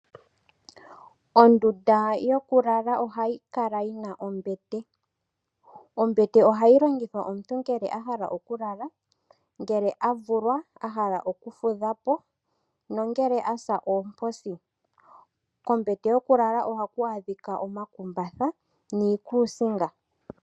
Ondunda yo ku lala ohayi kala yi na ombete. Ombete ohayi longithwa ngele omuntu a hala okulala, ngele a vulwa a hala okufudha po, no ngele a sa oomposi. Kombete yokulala ohaku adhika omakumbatha niikusinga.